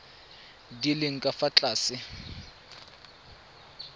di leng ka fa tlase